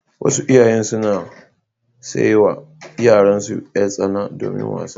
Wasu iyayen suna sai wa yaransu yar-tsana domin wasa.